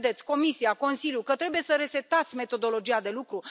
Nu credeți, Comisia, Consiliul, că trebuie să resetați metodologia de lucru?